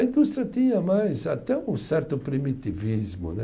A indústria tinha mais até um certo primitivismo, né?